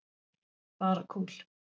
Bara kúl.